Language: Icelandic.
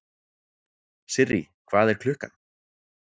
Sirrý, hvað er klukkan?